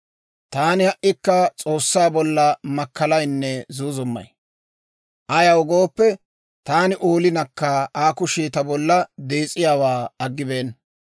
«Taani ha"ikka S'oossaa bolla makkalaynne zuuzummay; ayaw gooppe, taani oolinakka Aa kushii ta bolla dees'iyaawaa aggibeenna.